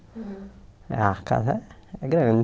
A casa é grande